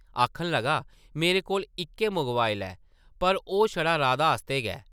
आखन लगा, मेरे कोल इक्कै मोबाइल ऐ पर ओह् छड़ा राधा आस्तै गै ।